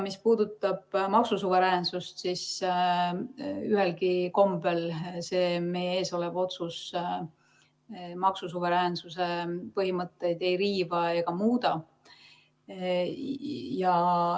Mis puudutab maksusuveräänsust, siis ühelgi kombel see meie ees olev otsus maksusuveräänsuse põhimõtteid ei riiva ega muuda.